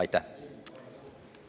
Aitäh!